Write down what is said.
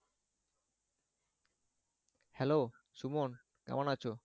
hello Suman কেমন আছো?